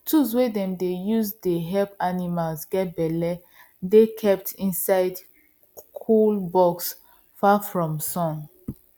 tools wey dem dey use to help animals get belle dey kept inside cool box far from sun